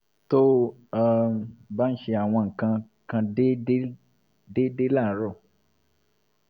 to o um m ba ṣe awọn nkankan deedee deedee laarọ